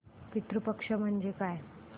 पितृ पक्ष म्हणजे काय